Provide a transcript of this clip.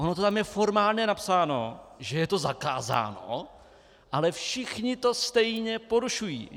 Ono to tam je formálně napsáno, že je to zakázáno, ale všichni to stejně porušují.